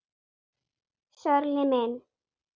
Sörli minn!